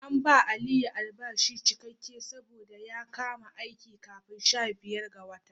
An bawa Aliyu albashi cikakke saboda ya kama aiki kafin sha biyar ga watan.